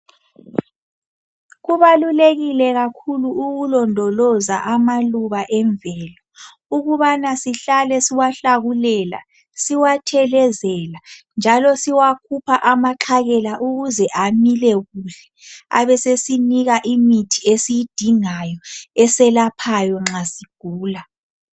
Kubalulekile kakhulu ukulondoloza amaluba emvelo ukubana sihlale siwahlakulela, siwathelezela njalo siwakhupha amaxhakela ukuze amile kuhle abesesinika imithi esiyidinga eselaphayo nxa sigula.